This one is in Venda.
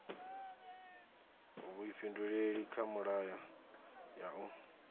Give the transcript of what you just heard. vhuifhinduleli kha milayo ya u